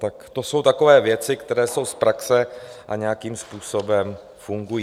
Tak to jsou takové věci, které jsou z praxe a nějakým způsobem fungují.